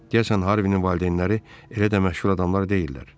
Deyəsən Harvinin valideynləri elə də məşhur adamlar deyildilər.